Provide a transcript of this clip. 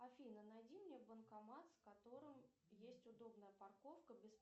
афина найди мне банкомат с которым есть удобная парковка